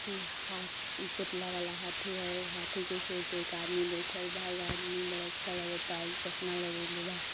के हाथ ई पुतला वाला हाथी ह। ऊ हाथी के सूंढ़ पे एक आदमी बैठल बा। उ आदमी बड़ा अच्छा लागता। एगो चश्मा लगईले बा।